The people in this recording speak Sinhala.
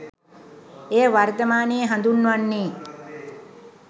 එය වර්තමානයේ හඳුන්වන්නේ